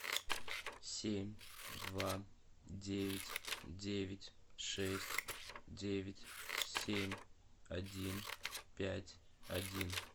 семь два девять девять шесть девять семь один пять один